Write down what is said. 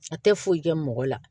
A tɛ foyi kɛ mɔgɔ la